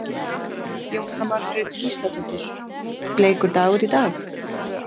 Jóhanna Margrét Gísladóttir: Bleikur dagur í dag?